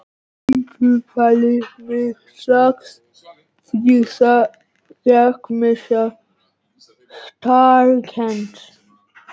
Vín truflaði mig strax því ég gekk með sektarkennd.